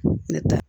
Ne ta